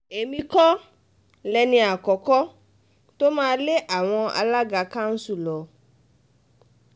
èmi kọ́ lẹni àkọ́kọ́ tó máa lé àwọn alága kanṣu lọ